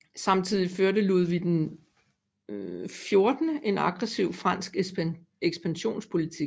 Samtidig førte Ludvig XIV en aggressiv fransk ekspansionspolitik